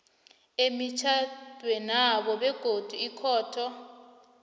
emitjhadwenabo begodu ikhotho